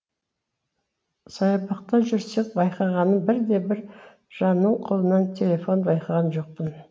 саябақта жүрсек байқағаным бірде бір жанның қолынан телефон байқаған жоқпын